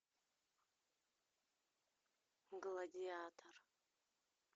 гладиатор